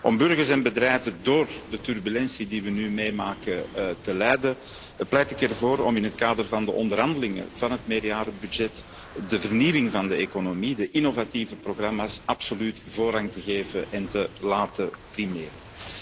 Om burgers en bedrijven door de turbulentie die we nu meemaken te leiden, pleit ik ervoor om in het kader van de onderhandelingen over de meerjarenbegroting de vernieuwing van de economie, de innovatieve programma's, absoluut voorrang te geven en te laten primeren.